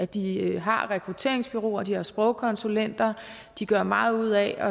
de har rekrutteringsbureauer de har sprogkonsulenter de gør meget ud af at